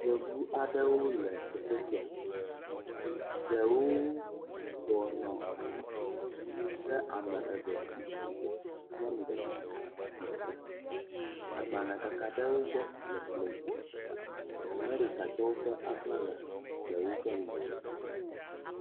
Yevu aɖewo le teƒe sia. Ɖewo bɔbɔnɔ anyi kea me eve tsi atsitre. Nyɔnu ɖeka ŋutsu ɖeka. Agbale kaka ɖe wo gbɔ le ekplɔ dzi. Amerikatɔwo ƒe aflaga le woƒe ŋgɔgbe.